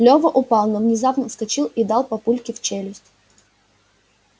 лева упал но внезапно вскочил и дал папульке в челюсть